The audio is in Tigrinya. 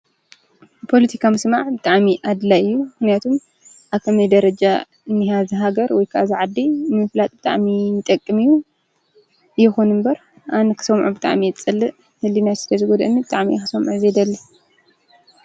ፖለቲካ ምስማዕ ብጣዕሚ ኣድላይ እዩ። ምክንያቱ ኣብ ከመይ ደረጃ እንይሃ እዛ ሃገር ወይ ከዓ እዛ ዓዲ ንምፍላጥ ብጣዕሚ ይጠቅም እዩ። ይኩን እምበር ኣነ ክሰምዖ ብጣዕሚ እየ ዝፀልእ ህልይናይ ስለ ዝጎድኣኒ ብጣዕሚ እየ ክሰምዖ ዘይደሊ።